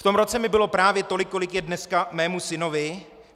V tom roce mi bylo právě tolik, kolik je dneska mému synovi.